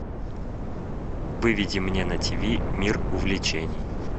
выведи мне на тв мир увлечений